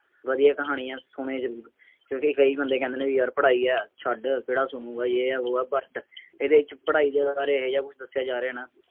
ਵਧੀਆ ਕਹਾਣੀ ਹੈ, ਸ਼ੁਣਿਓ ਜ਼ਰੂਰ, ਕਿਉਂਕਿ ਕਈ ਬੰਦੇ ਕਹਿੰਦੇ ਨੇ ਬਈ ਯਾਰ ਪੜ੍ਹਾਈ ਹੈ, ਛੱਡ ਕਿਹੜਾ ਸੂਣੂਗਾ, ਯੇਹ ਹੈ, ਵੋਹ ਹੈ, ਇਹਦੇ ਵਿੱਚ ਪੜ੍ਹਾਈ ਦੇ ਬਾਰੇ ਇਹੋ ਜਿਹਾ ਕੁੱਛ ਦੱਸਿਆ ਜਾ ਰਿਹਾ ਨਾ,